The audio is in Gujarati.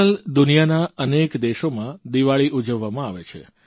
આજકાલ દુનિયાના અનેક દેશોમાં દીવાળી ઉજવવામાં આવે છે